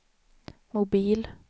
mobil